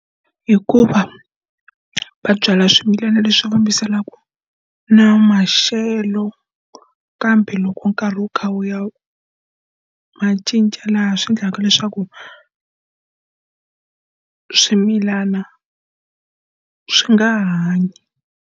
Hikuva va byala swimilana leswi fambisanaka na maxelo, kambe loko nkarhi wu kha wu ya ma cinca laha swi endlaka leswaku swimilana swi nga ha hanyi.